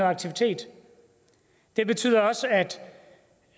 aktivitet det betyder også at